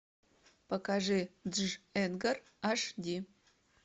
покажи дж эдгар аш ди